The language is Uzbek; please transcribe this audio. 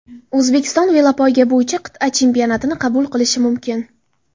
O‘zbekiston velopoyga bo‘yicha qit’a chempionatini qabul qilishi mumkin.